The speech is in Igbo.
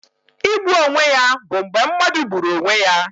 Igbu onwe ya bụ mgbe mmadụ gburu onwe ya